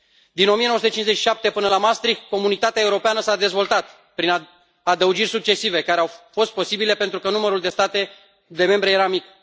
Din 1957 până la Maastricht, Comunitatea Europeană s a dezvoltat prin adăugiri succesive, care au fost posibile pentru că numărul de state membre era mic.